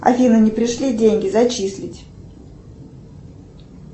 афина не пришли деньги зачислить